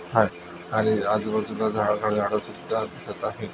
हा आणि आजूबाजूला झाड झाडसुद्धा दिसत आहे.